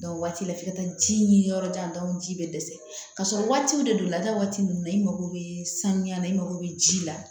waati la f'i ka taa ji ɲini yɔrɔ jan bɛ dɛsɛ ka sɔrɔ waatiw de don la da waati ninnu na i mako bɛ saniya la i mako bɛ ji la